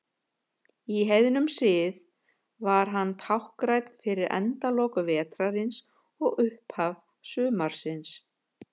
Í heiðnum sið var hann táknrænn fyrir endalok vetrarins og upphaf sumarsins.